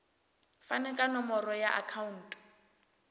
fane ka nomoro ya akhauntu